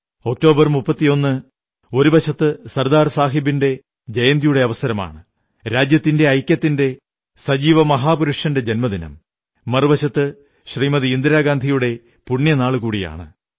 31 October ഒരു വശത്ത് സർദാർ സാഹബിന്റെ ജയന്തിയുടെ അവസരമാണ് രാജ്യത്തിന്റെ ഐക്യത്തിന്റെ സജീവമഹാപുരുഷന്റെ ജന്മദിനം മറുവശത്ത് ശ്രീമതി ഗാന്ധിയുടെ പുണ്യനാളുകൂടിയാണ്